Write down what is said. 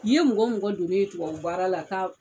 I ye mɔgɔ mɔgɔ donnen ye tubabu baara la.